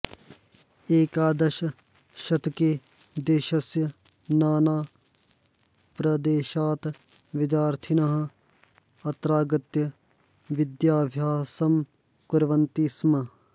एकादशशतके देशस्य नानाप्रदेशात् विद्यार्थिनः अत्रागत्य विद्याभ्यासं कुर्वन्ति स्म